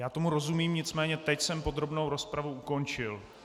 Já tomu rozumím, nicméně teď jsem podrobnou rozpravu ukončil.